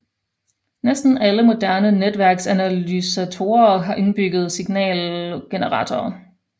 Næsten alle moderne netværksanalysatorer har indbygget signalgenerator